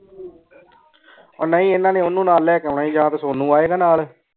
ਓ ਨਾਈ ਇਨਾਂ ਨੇ ਓਹਨੁ ਨਾਲ ਲੇ ਕੇ ਆਉਣਾ ਈ ਯਾਨ ਤੇ ਸੋਨੋ ਆਯ ਗਾ ਨਾਲ